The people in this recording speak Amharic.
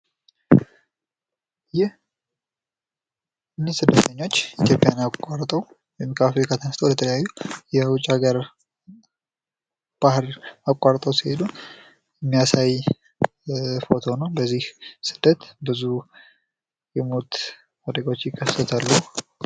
ይህ ስደተኞች ኢትዮጵያን አቋርጠው ወይም ከአፍሪካ ተነስተው ወደ ተለያዩ የውጭ ሀገር ባህር አቋርጠው ሲሄዱ የሚያሳይ ፎቶ ነው። በዚህ ስደት ብዙ የሞት አደጋወች ይከሰታሉ።